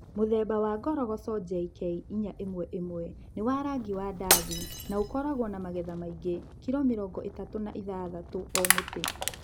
Mũthemba wa ngoroco JK411 nĩ wa rangi wa ndathi na ũkoragwo na magetha maingĩ (kilo mĩrongo ĩtatu na ithatatũ o mũtĩ).